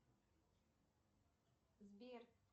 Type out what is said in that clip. сбер